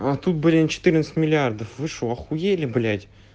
а тут блин четырнадцать миллиардов вы что ахуели блять